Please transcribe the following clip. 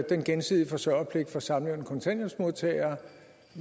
den gensidige forsørgerpligt for samlevende kontanthjælpsmodtagere